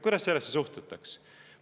" Kuidas sellesse suhtutaks?